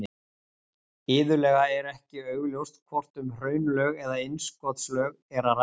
Iðulega er ekki augljóst hvort um hraunlög eða innskotslög er að ræða.